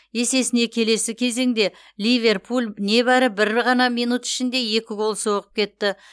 есесіне келесі кезеңде ливерпуль небәрі бір ғана минут ішінде екі гол соғып кетті